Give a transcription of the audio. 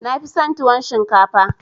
Na fi son tuwon shinkafa